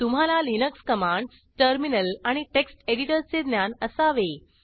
तुम्हाला Linux commands terminal आणि text एडिटरचे ज्ञान असावे